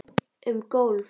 Um golf